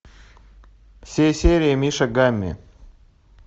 все серии мишек гамми